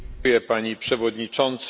Pani Przewodnicząca!